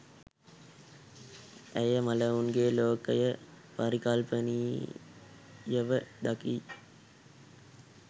ඇය මළවුන්ගේ ලෝකය පරිකල්පනීයව දකි